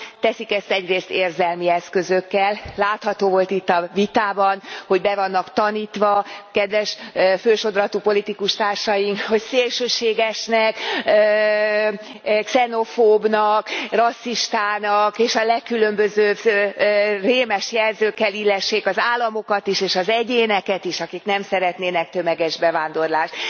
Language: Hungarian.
pont Teszik ezt egyrészt érzelmi eszközökkel, látható volt itt a vitában, hogy be vannak tanítva, kedves fősodratú politikustársaink, hogy szélsőségesnek, xenofóbnak, rasszistának, és a legkülönbözőbb rémes jelzőkkel illessék az államokat is és az egyéneket is, akik nem szeretnének tömeges bevándorlást.